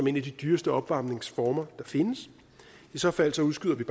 en af de dyreste opvarmningsformer der findes i så fald udskyder vi